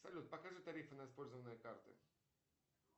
салют покажи тарифы на использованные карты